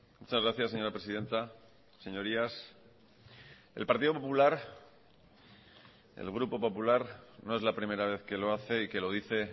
muchas gracias señora presidenta señorías el partido popular el grupo popular no es la primera vez que lo hace y que lo dice